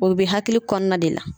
O bɛ hakili kɔnɔna de la.